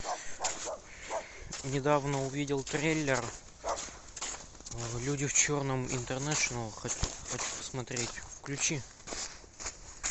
недавно увидел трейлер люди в черном интернэшнл хочу посмотреть включи